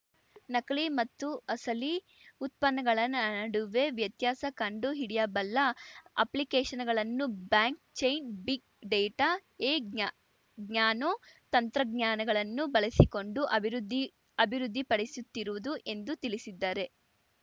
ನಕಲಿ ಮತ್ತು ಅಸಲಿ ಉತ್ಪನ್ನಗಳ ನಡುವೆ ವ್ಯತ್ಯಾಸ ಕಂಡು ಹಿಡಿಯಬಲ್ಲ ಅಪ್ಲಿಕೇಷನ್‌ಗಳನ್ನು ಬ್ಯಾಂಕ್ ಚೈನ್ ಬಿಗ್ ಡೇಟಾ ಎ ನ್ಯಾನೋ ತಂತ್ರಜ್ಞಾನಗಳನ್ನು ಬಳಸಿಕೊಂಡು ಅಭಿವೃದ್ಧಿಅಭಿವೃದ್ಧಿಪಡಿಸುತ್ತಿರುವುದು ಎಂದು ತಿಳಿಸಿದ್ದಾರೆ